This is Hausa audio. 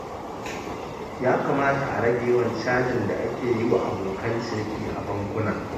Ya kamata a rage yawan cajin da ake yi wa abokan ciniki a bankuna.